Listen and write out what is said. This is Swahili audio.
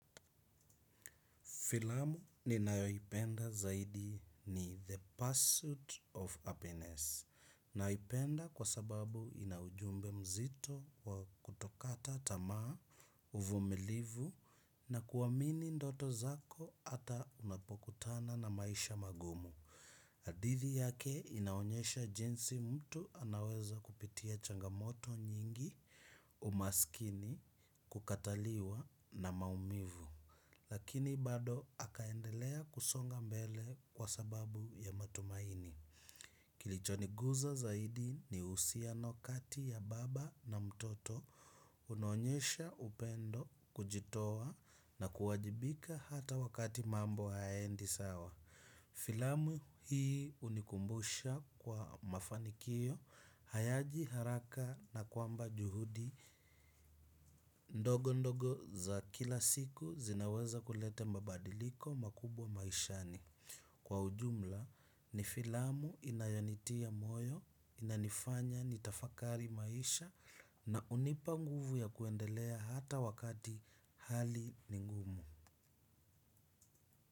Filamu, ninayoipenda zaidi, ni The Pursuit of Happiness. Naipenda kwa sababu ina ujumbe mzito wa kutokata tamaa, uvumilivu na kuwamini ndoto zako ata unapokutana na maisha magumu. Hadithi yake, inaonyesha jinsi mtu anaweza kupitia changamoto nyingi, umaskini kukataliwa na maumivu. Lakini bado akaendelea kusonga mbele, kwa sababu ya matumaini. Kilichoniguza zaidi, ni uhusiano kati ya baba na mtoto, unaonyesha upendo, kujitoa na kuwajibika hata wakati mambo hayaendi sawa. Filamu hii unikumbusha kwa mafanikio, hayaji haraka na kwamba juhudi, ndogo ndogo za kila siku zinaweza kulete mabadiliko makubwa maishani. Kwa ujumla, ni filamu inayonitia moyo, inanifanya ni tafakari maisha na unipa nguvu ya kuendelea hata wakati hali ni ngumu.